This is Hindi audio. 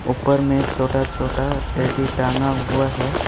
ऊपर में छोटा छोटा टेडी टांगा हुआ है।